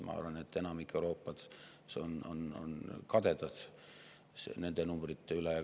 Ma arvan, et enamik Euroopas on kadedad nende numbrite pärast.